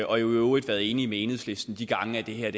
og i øvrigt været enige med enhedslisten de gange det her